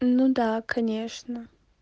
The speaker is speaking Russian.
ну да конечно